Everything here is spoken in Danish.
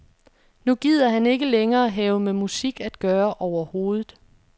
Nu gider han ikke længere have med musik at gøre overhovedet.